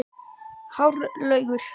Hárlaugur, hvað heitir þú fullu nafni?